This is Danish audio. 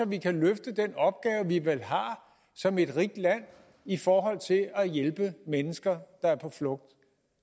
vi kan løfte den opgave vi vel har som et rigt land i forhold til at hjælpe mennesker der er på flugt